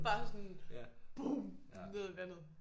Bare sådan bum ned i vandet